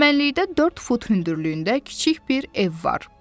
Çəmənlikdə dörd fut hündürlüyündə kiçik bir ev var.